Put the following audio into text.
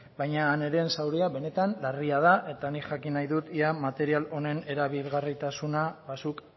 baina aneren zauria benetan larria da eta ni jakin nahi dut ea material honen erabilgarritasuna ba zuk